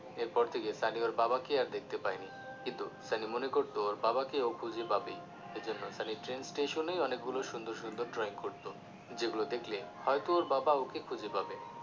এরপর থেকে সানি ওর বাবাকে আর দেখতে পায়নি কিন্তু সানি মনে করতো ওর বাবাকে ও খুঁজে পাবেই এজন্য সানি ট্রেন স্টেশনেই অনেক গুলো সুন্দর সুন্দর drawing করতো যেগুলো দেখলে হয়তো ওর বাবা ওকে খুঁজে পাবে